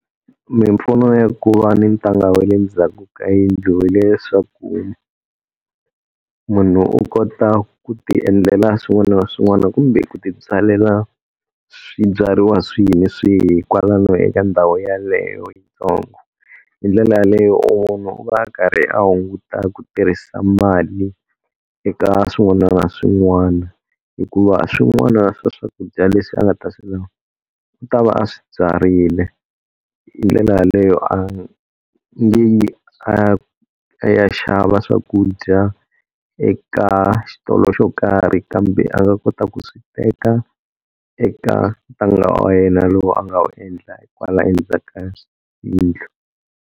Mimpfuno ya ku va ni ntanga wa le ndzhaku ka yindlu hileswaku munhu u kota ku tiendlela swin'wana na swin'wana kumbe ku tibyalela swibyariwa swihi ni swihi kwalano eka ndhawu yeleyo yitsongo. Hindlela yaleyo munhu u va a karhi a hunguta ku tirhisa mali eka swin'wana na swin'wana, hikuva swin'wana swa swakudya leswi a nga ta swi lava u ta va a swi byarile. Hindlela yaleyo a nge yi a, a ya xava swakudya eka xitolo xo karhi kambe a nga kota ku swi teka eka ntanga wa yena lowu a nga wu endla hi kwala endzhaku ka yindlu.